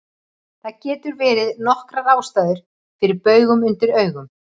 Það geta verið nokkrar ástæður fyrir baugum undir augum.